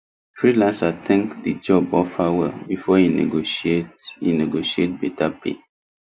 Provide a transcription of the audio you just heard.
freelancer think the job offer well before e negotiate e negotiate better pay